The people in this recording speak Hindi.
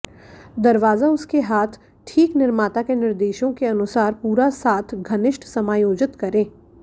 दरवाजा उसके हाथ ठीक निर्माता के निर्देशों के अनुसार पूरा साथ घनिष्ठ समायोजित करें